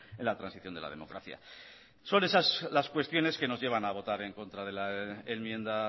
en transición de la democracia son esas las cuestiones que nos llevan a votar en contra de la enmienda